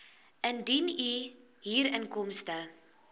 indien u huurinkomste